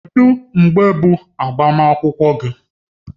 Kedu mgbe bụ agbamakwụkwọ gị?